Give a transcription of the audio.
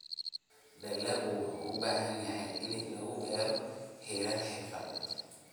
Dalaggu wuxuu u baahan yahay in lagu beero heerar xirfadeed.